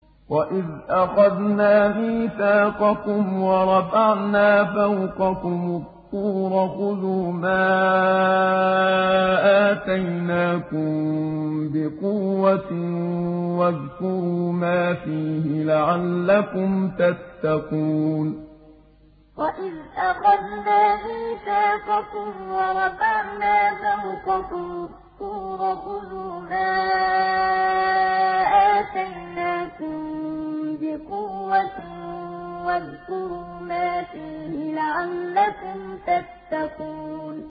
وَإِذْ أَخَذْنَا مِيثَاقَكُمْ وَرَفَعْنَا فَوْقَكُمُ الطُّورَ خُذُوا مَا آتَيْنَاكُم بِقُوَّةٍ وَاذْكُرُوا مَا فِيهِ لَعَلَّكُمْ تَتَّقُونَ وَإِذْ أَخَذْنَا مِيثَاقَكُمْ وَرَفَعْنَا فَوْقَكُمُ الطُّورَ خُذُوا مَا آتَيْنَاكُم بِقُوَّةٍ وَاذْكُرُوا مَا فِيهِ لَعَلَّكُمْ تَتَّقُونَ